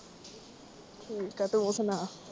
ਠੀਕ ਆ ਤੂੰ ਸੁਣਾ